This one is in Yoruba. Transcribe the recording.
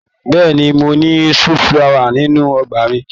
Bẹ́ẹ̀ni. Mo ní sunflower nínú ọgbà mi.